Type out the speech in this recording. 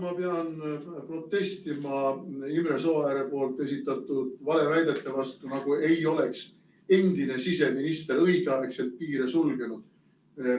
Ma pean protestima Imre Sooääre esitatud valeväidete vastu, nagu ei oleks endine siseminister õigeaegselt piire sulgenud.